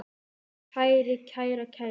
kæri, kæra, kæru